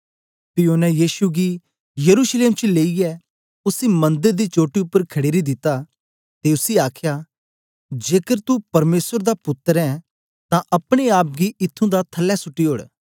पी ओनें यीशु गी यरूशलेम लेईयै उसी मंदर दी चोटी उपर खड़ेरी दिता ते उसी आखया जेकर तू परमेसर दा पुत्तर ऐं तां अपने आप गी इत्थूं दा थलै सुट्टी ओड़